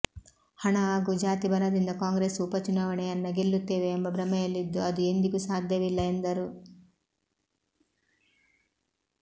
ಹಣ ಹಾಗೂ ಜಾತಿ ಬಲದಿಂದ ಕಾಂಗ್ರೆಸ್ ಉಪಚುನಾವಣೆಯನ್ನ ಗೆಲುತ್ತೇವೆ ಎಂಬ ಭ್ರಮೆಯಲ್ಲಿದ್ದು ಅದು ಎಂದಿಗೂ ಸಾಧ್ಯವಿಲ್ಲ ಎಂದರು